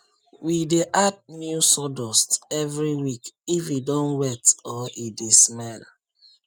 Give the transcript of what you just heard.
we dey add new sawdust every week if e don wet or e dey smell